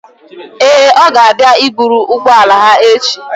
Ee, ọ ga-abịa i buru ụgbọala gị echi.